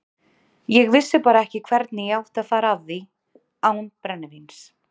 Ég vissi bara ekki hvernig ég átti að fara að því án brennivíns.